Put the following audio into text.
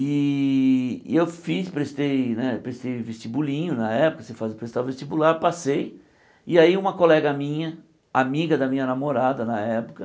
E e eu fiz, prestei né prestei vestibulinho na época, você presta o vestibular, passei, e aí uma colega minha, amiga da minha namorada na época,